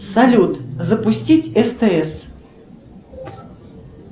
салют запустить стс